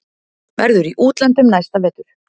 Verður í útlöndum næsta vetur.